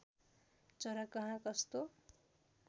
चरा कहाँ कस्तो